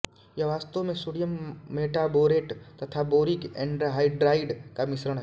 यह वास्तव में सोडियम मेटाबोरेट तथा बोरिक एन्हाइड्राइड का मिश्रण है